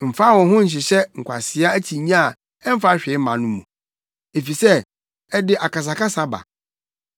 Mfa wo ho nhyehyɛ nkwasea akyinnye a ɛmfa hwee mma no mu, efisɛ ɛde akasakasa ba.